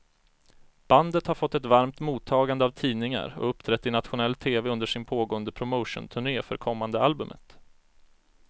Bandet har fått ett varmt mottagande av tidningar och uppträtt i nationell tv under sin pågående promotionturné för kommande albumet.